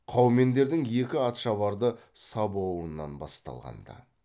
қаумендердің екі атшабарды сабуынан басталған ды